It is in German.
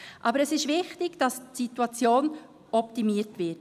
Aber es ist wichtig, dass die Situation optimiert wird.